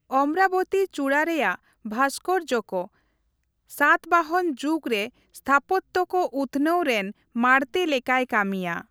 ᱚᱢᱨᱟᱵᱚᱛᱤ ᱪᱩᱲᱟᱹ ᱨᱮᱭᱟᱜ ᱵᱷᱟᱥᱠᱚᱨᱡᱚ ᱠᱚ ᱥᱟᱛᱵᱟᱦᱚᱱ ᱡᱩᱜᱽ ᱨᱮ ᱥᱛᱷᱟᱯᱚᱛᱛᱚ ᱠᱚ ᱩᱛᱱᱟᱹᱣ ᱨᱮᱱ ᱢᱟᱲᱛᱮ ᱞᱮᱠᱟᱭ ᱠᱟᱹᱢᱤᱭᱟ ᱾